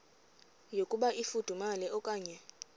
yokuba ifudumele okanye